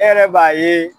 E yɛrɛ b'a ye